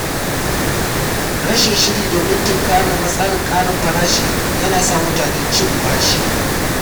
Rashin shiri domin tunkarar matsalar ƙarin farashi yana sa mutane cin bashi.